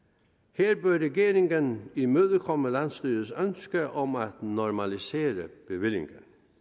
her bør regeringen imødekomme landsstyrets ønske om at normalisere bevillingen